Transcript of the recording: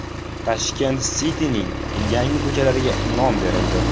Tashkent City’ning yangi ko‘chalariga nom berildi.